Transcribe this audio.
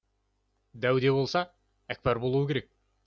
дәу де болса әкпар болуы керек